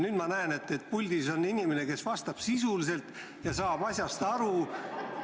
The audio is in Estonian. Nüüd ma näen, et puldis on inimene, kes vastab sisuliselt ja saab asjast aru.